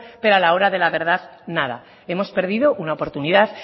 pero a la hora de la verdad nada hemos perdido una oportunidad